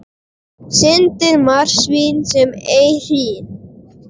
Syndir marsvín sem ei hrín.